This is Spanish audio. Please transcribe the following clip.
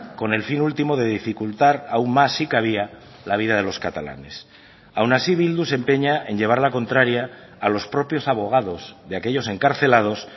con el fin último de dificultar aún más si cabía la vida de los catalanes aun así bildu se empeña en llevar la contraria a los propios abogados de aquellos encarcelados